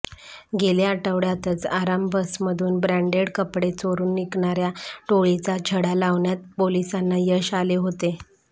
गेल्या आठवड्यातच आराम बसमधून ब्रँडेड कपडे चोरून विकणार्या टोळीचा छडा लावण्यात पोलिसांना यश आले होते